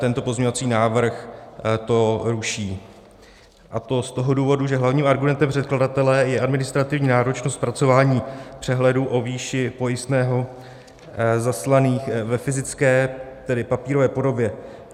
Tento pozměňovací návrh to ruší, a to z toho důvodu, že hlavním argumentem předkladatele je administrativní náročnost zpracování přehledů o výši pojistného zaslaných ve fyzické, tedy papírové podobě.